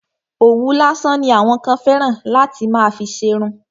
Òwú lásán ni àwọn kan fẹ́ràn láti fi má ṣerun.